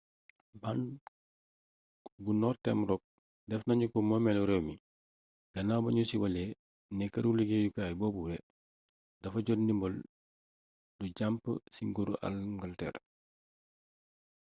bank bu northern rock def nanu ko moomeelu réew mi gannaaw ba nu siiwalee ne këru liggéeyukaay boobule dafa jot ndimbal lu jàmp ci nguuru angalteer